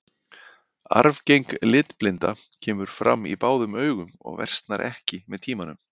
Arfgeng litblinda kemur fram á báðum augum og versnar ekki með tímanum.